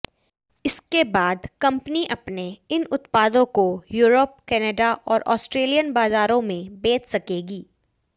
इसके बाद कंपनी अपने इन उत्पादों को यूरोप कनाडा और ऑस्ट्रेलियन बाजारों में बेच सकेगी